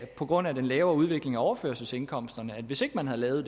på grund af den lavere udvikling i overførselsindkomsterne at hvis ikke man havde lavet